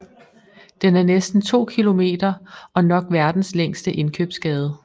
Den er næsten to kilomenter og nok verdens længste indkøbsgade